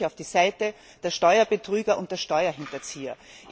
Sie stellen sich auf die Seite der Steuerbetrüger und der Steuerhinterzieher.